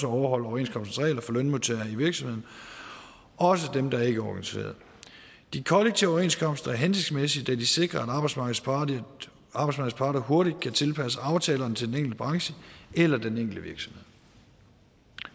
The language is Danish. overholde overenskomstens regler for lønmodtagere i virksomheden også dem der ikke er organiseret de kollektive overenskomster er hensigtsmæssige da de sikrer at arbejdsmarkedets parter hurtigt kan tilpasse aftalerne til den enkelte branche eller den enkelte virksomhed